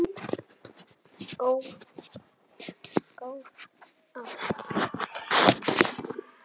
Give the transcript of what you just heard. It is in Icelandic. Góð ár.